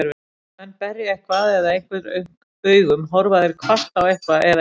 Þegar menn berja eitthvað eða einhvern augum, horfa þeir hvasst á eitthvað eða einhvern.